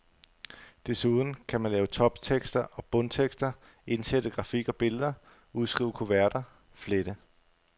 Desuden kan man lave toptekster og bundtekster, indsætte grafik og billeder, udskrive kuverter, flette.